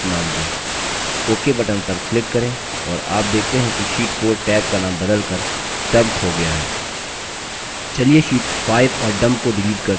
ok button पर click करें और आप देखते हैं कि sheet 4 टैब का नाम बदलकर dump हो गया है चलिए sheets 5 और dump को डिलीट करते हैं